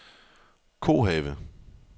Kohave